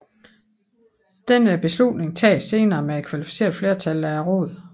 Denne beslutning tages senere med kvalificeret flertal af Rådet